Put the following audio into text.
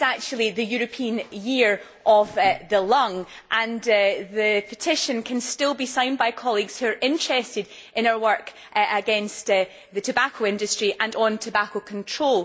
This is actually the European Year of the Lung, and the petition can still be signed by colleagues who are interested in our work against the tobacco industry and on tobacco control.